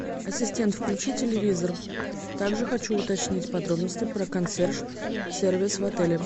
ассистент включи телевизор также хочу уточнить подробности про консьерж сервис в отеле